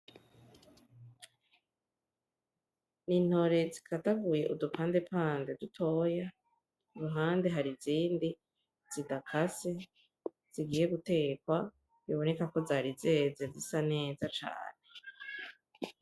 Ni intore zikadaguye udupandepande dutoya uruhande hari izindi zidakase zigiye guterwa biboneka ko zari zeze zisa neza cane.